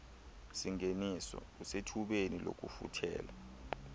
singeniso usethubeni lokufuthela